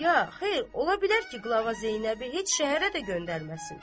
Ya, xeyr, ola bilər ki, qlava Zeynəbi heç şəhərə də göndərməsin.